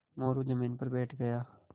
मोरू ज़मीन पर बैठ गया